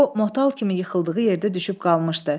O motal kimi yıxıldığı yerdə düşüb qalmışdı.